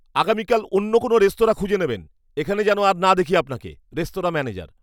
আগামীকাল অন্য কোনও রেস্তোরাঁ খুঁজে নেবেন। এখানে যেন আর না দেখি আপনাকে। Restaurant manager